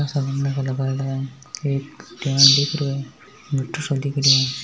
Birthday है एक बड्डो सो दिख रो है।